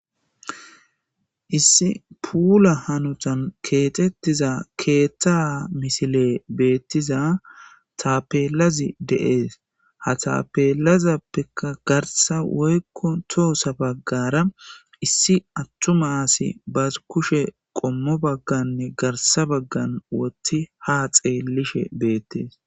Issi puula hanotan kexetishe diza ketha misiley de'es, de'es ha tapelazapeka garsa woyko tosa bagara issi atuma assiy bas kusheppe qomot bagan garsa bagan with ha xelishe betes